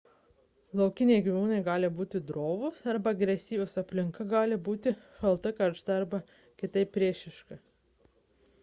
laukiniai gyvūnai gali būti drovūs arba agresyvūs aplinka gali būti šalta karšta ar kitaip priešiška